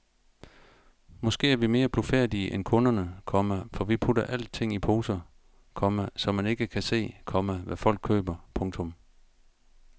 Måske er vi mere blufærdige end kunderne, komma for vi putter alting i poser, komma så man ikke kan se, komma hvad folk køber. punktum